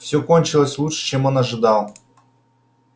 всё кончилось лучше чем он ожидал